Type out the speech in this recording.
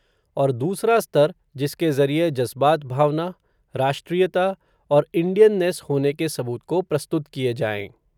और दूसरा स्तर, जिसके ज़रिए जज़्बात भावना, राष्ट्रीयता, और इंडियननेस होने के सबूत को प्रस्तुत किए जाएं